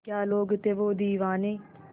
क्या लोग थे वो दीवाने